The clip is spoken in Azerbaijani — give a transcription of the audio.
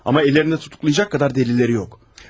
Amma əllərində həbs edəcək qədər dəlilləri yoxdur.